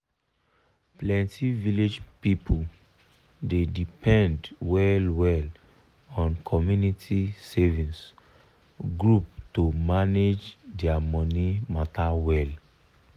plenty village people dey depend well well on community savings group to manage their money matter well.